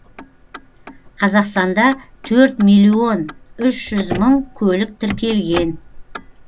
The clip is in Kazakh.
қазақстанда төрт миллион үш жүз мың көлік тіркелген